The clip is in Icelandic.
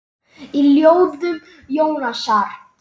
Í ljóðum Jónasar